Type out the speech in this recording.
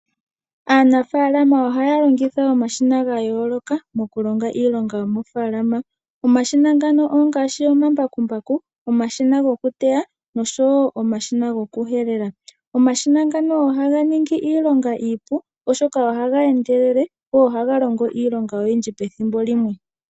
Aanafaalama ohaya longitha omashina ga yooloka, okulonga iilonga yomofaalama, omashina ngano ongaashi Omambakumbaku, omashina gokuteya noshowo omashina go kuhelela. Omashina ngano ohaga ningi iilonga iipu, oshoka ohaga endelele go ohaga longo iilonga oyindji pethimbo limwe.